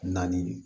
Naani